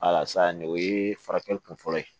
nin o ye furakɛli kun fɔlɔ ye